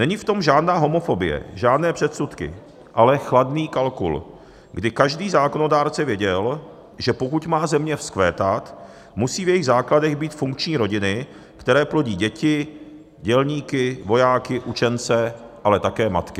Není v tom žádná homofobie, žádné předsudky, ale chladný kalkul, kdy každý zákonodárce věděl, že pokud má země vzkvétat, musí v jejích základech být funkční rodiny, které plodí děti, dělníky, vojáky, učence, ale také matky.